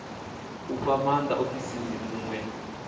u fha maanda muofisiri muṅwe